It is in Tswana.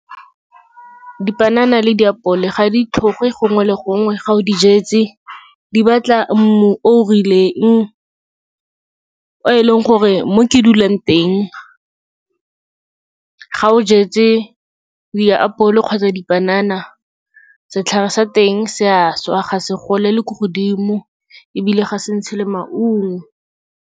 Dipanana le diapole ga di tlhoge gongwe le gongwe, ga o di jetse. Di batla mmu o o rileng, o e leng gore mo ke dulang teng ga o jetse diapole kgotsa dipanana, setlhare sa teng se a swa, ga se golele ko godimo ebile ga se ntshe le maungo.